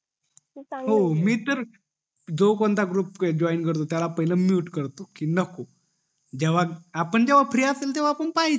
हो मी तर जो पण ग्रुप जॉईन करतो त्याला पहिले mute करतो कि नको जेव्हा आपण फ्री असेल तेव्हा आपण पाहायचं